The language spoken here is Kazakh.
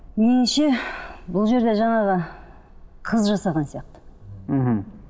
меніңше бұл жерде жаңағы қыз жасаған сияқты мхм